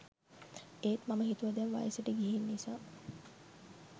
ඒත් මම හිතුව දැන් වයසට ගිහින් නිසා